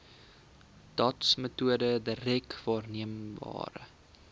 dotsmetode direk waarneembare